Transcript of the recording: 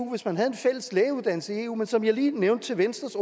hvis man havde en fælles lægeuddannelse i eu men som jeg lige nævnte for venstres